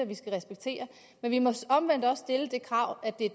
vi skal respektere men vi må omvendt også stille det krav at det